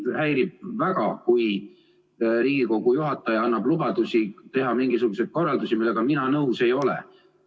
Mind häirib väga, kui Riigikogu juhataja annab lubadusi anda mingisuguseid korraldusi, millega mina nõus ei ole.